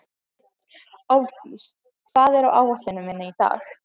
Álfdís, hvað er á áætluninni minni í dag?